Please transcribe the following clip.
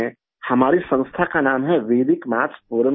हमारी संस्था का नाम है वेदिक मैथ्स फोरम India